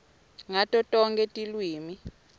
ngato tonkhe tilwimi